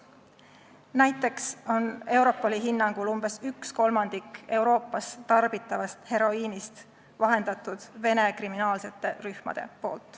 Näiteks on Europoli hinnangul umbes ühe kolmandiku Euroopas tarbitavast heroiinist vahendanud Vene kriminaalsed rühmad.